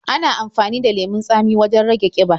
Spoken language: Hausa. Ana amafani da lemon tsamin wajen rage ƙiba.